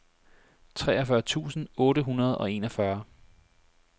treogfyrre tusind otte hundrede og enogfyrre